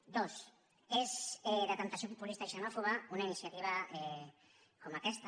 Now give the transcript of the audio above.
dos és de temptació populista i xenòfoba una iniciativa com aquesta